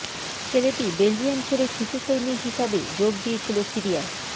ছেলেটি বেলজিয়াম ছেড়ে শিশু সৈনিক হিসাবে যোগ দিয়েছিল সিরিয়ায়